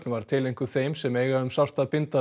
var tileinkuð þeim sem eiga um sárt að binda